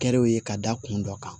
Kɛrew ye ka da kun dɔ kan